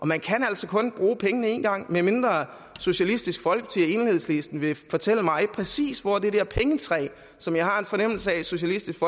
man kan altså kun bruge pengene én gang medmindre socialistisk folkeparti og enhedslisten vil fortælle mig præcis hvor det der pengetræ som jeg har en fornemmelse af socialistisk